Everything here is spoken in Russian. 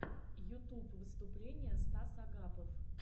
ютуб выступление стас агапов